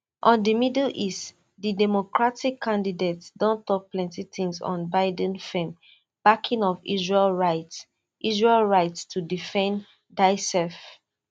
on di middle east di democratic candidate don tok plenti times on biden firm backing of israel right israel right to defend diasef